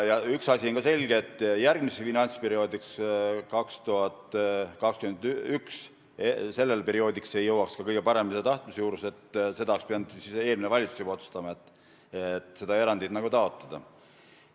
Üks asi on selge: järgmiseks finantsperioodiks, 2021, ei jõuaks ka kõige parema tahtmise juures seda teha, juba eelmine valitsus oleks pidanud siis otsustama, et seda erandit taotletakse.